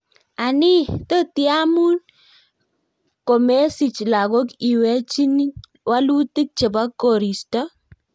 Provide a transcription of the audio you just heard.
anii totiamun komesich lagok iwechin walutik chebo Koristo